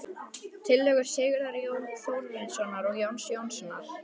Tillögur Sigurðar Þórarinssonar og Jóns Jónssonar